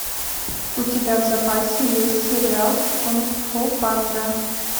у тебя в запасе есть сериал кунг фу панда